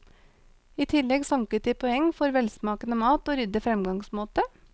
I tillegg sanket de poeng for velsmakende mat og ryddig fremgangsmåte.